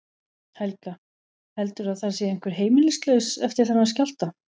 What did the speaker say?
Helga: Heldurðu að það sé einhver heimilislaus eftir þennan skjálfta?